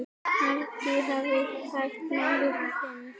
Margir hafa lagt málinu lið.